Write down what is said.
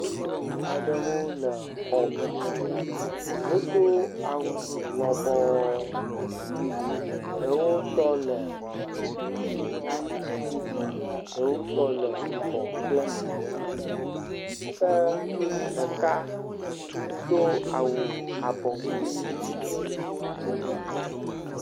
Ŋutsu aɖewo le xɔme, wodo awu lɔbɔ, ɖewo tɔ le aŋutiɖiɖi, ɖewo tɔ le yibɔ kple aŋuti ɖiɖi ke ɖeka do awu abɔ kpui.